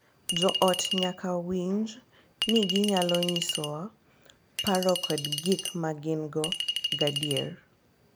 Jo ot nyaka winjo ni ginyalo nyisowa paro kod gik ma gin-go gadier .